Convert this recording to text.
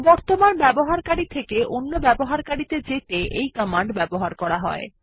বর্তমান ব্যবহারকারী থেকে অন্য ব্যবহারকারী ত়ে যেতে এই কমান্ড ব্যবহার করা হয়